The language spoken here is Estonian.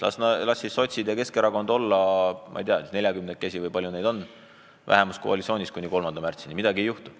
Las siis sotsid ja Keskerakond olla – ma ei tea, neljakümnekesi või palju neid on – koalitsioonis kuni 3. märtsini, midagi ei juhtu.